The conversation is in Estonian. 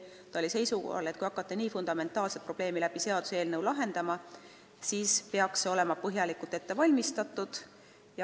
Ta oli seisukohal, et kui hakata nii fundamentaalset probleemi lahendama, siis peaks eelnõu olema põhjalikult ette valmistatud.